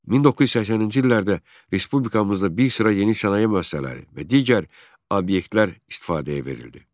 1980-ci illərdə respublikamızda bir sıra yeni sənaye müəssisələri və digər obyektlər istifadəyə verildi.